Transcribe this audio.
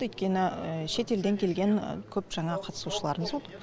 өйткені шетелден келген көп жаңағы қатысушыларымыз болды